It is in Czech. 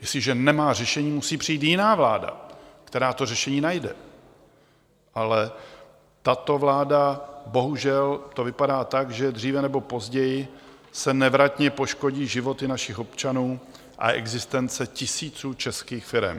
Jestliže nemá řešení, musí přijít jiná vláda, která to řešení najde, ale tato vláda, bohužel, to vypadá tak, že dříve nebo později se nevratně poškodí životy našich občanů a existence tisíců českých firem.